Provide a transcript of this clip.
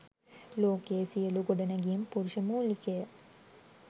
ලෝකයේ සියළු ගොඩනැඟිම් පුරුෂ මූලිකය.